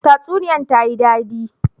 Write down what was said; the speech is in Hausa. Tsasuniyan ta yi dadi.